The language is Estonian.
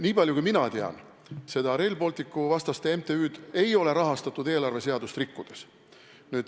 Niipalju kui mina tean, seda Rail Balticu vastaste MTÜ-d ei ole rahastatud eelarveseadust rikkudes.